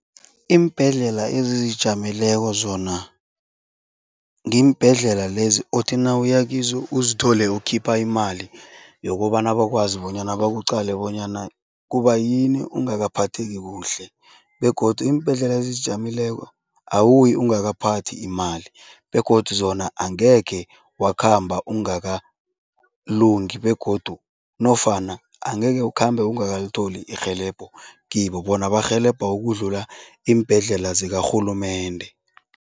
Iimbhedlela ezizijameleko zona ngiimbhedlela lezi othi nawuya kizo, uzithole ukhipha imali yokobana bakwazi bonyana bakuqale bonyana kubayini ungakaphatheki kuhle begodu iimbhedlela ezizijameleko awuyi ungakaphathi imali begodu zona angekhe wakhamba ungakalungi begodu nofana angeke ukhambe ungakalitholi irhelebho kibo, bona barhelebha ukudlula iimbhedlela zikarhulumende.